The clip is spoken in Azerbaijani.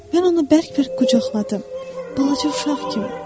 Mən onu bərk-bərk qucaqladım, balaca uşaq kimi.